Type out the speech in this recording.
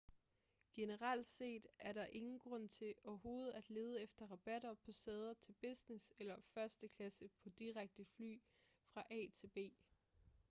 generelt set er der ingen grund til overhovedet at lede efter rabatter på sæder på business- eller første klasse på direkte fly fra a til b